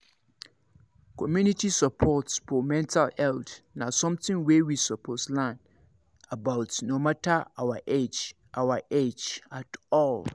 community support for mental health na something wey we suppose learn about no matter our age our age at all